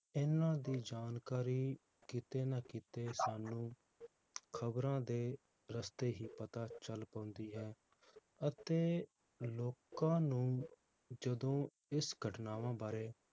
ਇਨ੍ਹਾਂ ਦੀ ਜਾਣਕਾਰੀ ਕਿਤੇ ਨਾ ਕਿਤੇ ਸਾਨੂੰ ਖਬਰਾਂ ਦੇ ਰਸਤੇ ਹੀ ਪਤਾ ਚਲ ਪਾਉਂਦੀ ਹੈ ਅਤੇ ਲੋਕਾਂ ਨੂੰ ਜਦੋ ਇਸ ਘਟਨਾਵਾਂ ਬਾਰੇ